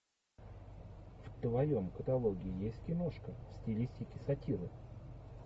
в твоем каталоге есть киношка в стилистике сатиры